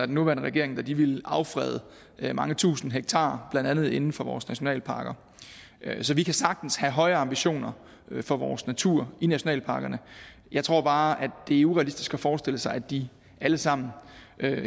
den nuværende regering ville ville affrede mange tusinde hektar blandt andet inden for vores nationalparker så vi kan sagtens have høje ambitioner for vores natur i nationalparkerne jeg tror bare at det er urealistisk at forestille sig at de alle sammen